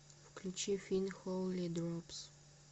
включи фин холи дропс